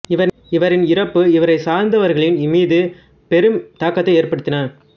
இவரின் இறப்பு இவரைச் சார்ந்தவைகளின் மீது பெரும் தாக்கத்தை ஏற்படுத்தின